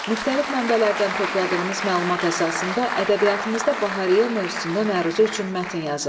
Müxtəlif mənbələrdən topladığınız məlumat əsasında ədəbiyyatımızda bahariyyə mövzusunda məruzə üçün mətn yazın.